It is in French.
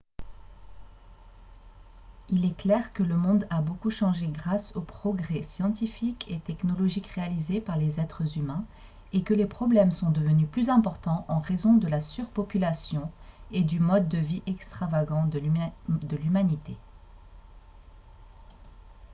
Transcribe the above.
il est clair que le monde a beaucoup changé grâce aux progrès scientifiques et technologiques réalisés par les êtres humains et que les problèmes sont devenus plus importants en raison de la surpopulation et du mode de vie extravagant de l'humanité